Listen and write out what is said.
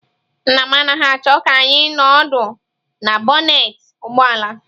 Nna m anaghị achọọ ka anyị nọ ọdụ na bọnetị ụgbọ ala.